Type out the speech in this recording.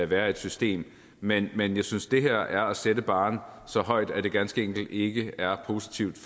være et system men men jeg synes at det her er at sætte barren så højt at det ganske enkelt ikke er positivt